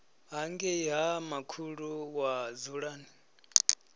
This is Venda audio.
hangei ha makhulu wa dzulani